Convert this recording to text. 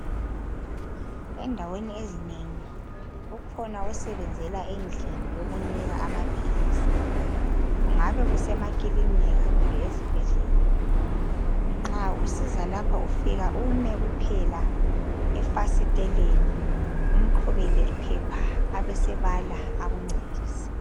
Endaweni ezitshiyeneyo ezinengi nxa usiyathenga imithi ufika ume efasiteleni umqhubele iphelw ubesuthenga amaphilisi ngendlela eqondileyo.